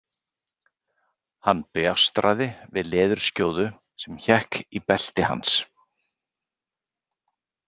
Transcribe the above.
Hann bjástraði við leðurskjóðu sem hékk í belti hans.